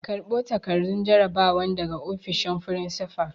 Karɓo takardun jarabawan daga ofishin furinsifal!